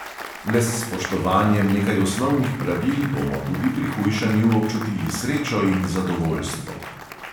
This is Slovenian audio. Le s spoštovanjem nekaj osnovnih pravil bomo tudi pri hujšanju občutili srečo in zadovoljstvo.